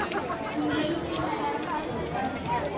Hún leit til hennar og kreisti fram bros.